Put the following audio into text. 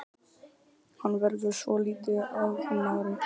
Hann verður svolítið ágengari.